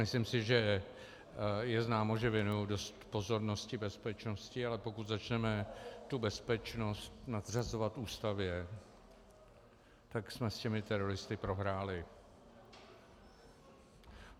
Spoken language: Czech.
Myslím si, že je známo, že věnuji dost pozornosti bezpečnosti, ale pokud začneme tu bezpečnost nadřazovat Ústavě, tak jsme s těmi teroristy prohráli.